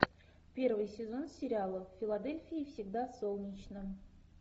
первый сезон сериала в филадельфии всегда солнечно